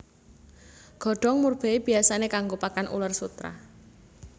Godhong murbei biyasané kanggo pakan uler sutera